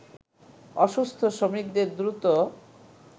অসুস্থ শ্রমিকদের দ্রুত